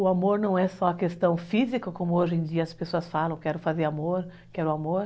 O amor não é só a questão física, como hoje em dia as pessoas falam, quero fazer amor, quero amor.